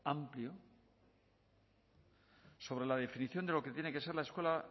amplio sobre la definición de lo que tiene que ser la escuela